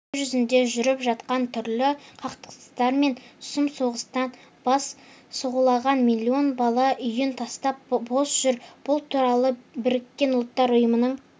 дүниежүзінде жүріп жатқан түрлі қақтығыстар мен сұм соғыстан бас сауғалаған миллион бала үйін тастап бос жүр бұл туралы біріккен ұлттар ұйымының